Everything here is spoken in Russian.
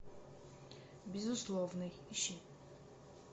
безусловный ищи